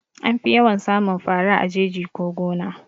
Anfi yawan samun fara a jeji ko gona